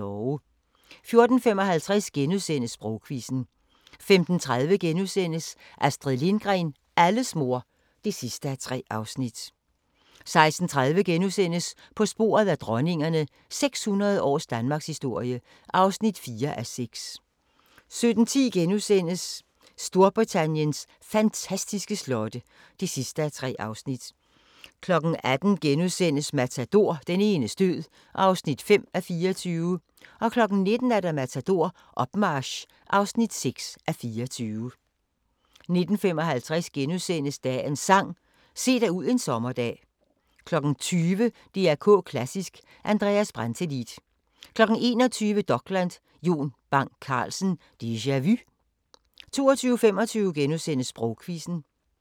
14:55: Sprogquizzen * 15:30: Astrid Lindgren – alles mor (3:3)* 16:30: På sporet af dronningerne – 600 års danmarkshistorie (4:6)* 17:10: Storbritanniens fantastiske slotte (3:3)* 18:00: Matador – Den enes død (5:24)* 19:00: Matador – Opmarch (6:24) 19:55: Dagens Sang: Se dig ud en sommerdag * 20:00: DR K Klassisk: Andreas Brantelid 21:00: Dokland: Jon Bang Carlsen – Deja Vu 22:25: Sprogquizzen *